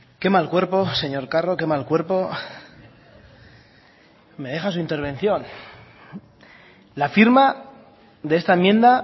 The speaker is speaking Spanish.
qué mal cuerpo señor carro qué mal cuerpo me deja su intervención la firma de esta enmienda